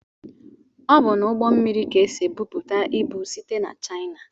Ọ bụ n'ugbó mmiri ka esị ebubata ịbụ site n'china.